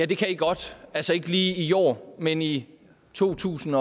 det kan i godt altså ikke lige i år men i to tusind